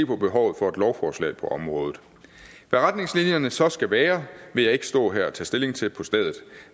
på behovet for et lovforslag på området hvad retningslinjerne så skal være vil jeg ikke stå her og tage stilling til på stedet